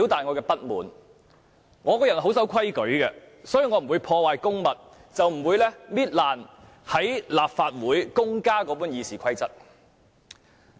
我是個很守規矩的人，所以我不會破壞公物，撕破大家在立法會共用的《議事規則》。